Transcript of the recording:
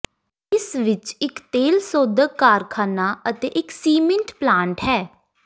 ਇਸ ਵਿਚ ਇਕ ਤੇਲ ਸੋਧਕ ਕਾਰਖਾਨਾ ਅਤੇ ਇਕ ਸੀਮੈਂਟ ਪਲਾਂਟ ਹੈ